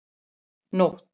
Nótt